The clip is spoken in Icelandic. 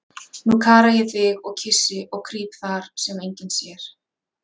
Nú kara ég þig og kyssi og krýp þar, sem enginn sér.